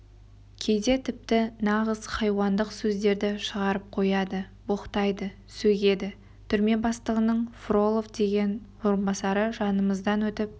кейде тіпті нағыз хайуандық сөздерді шығарып қояды боқтайды сөгеді түрме бастығының фролов деген орынбасары жанымыздан өтіп